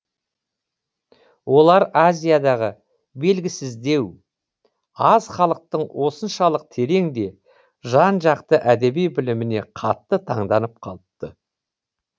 олар азиядағы белгісіздеу аз халықтың осыншалық терең де жан жақты әдеби біліміне қатты таңданып қалыпты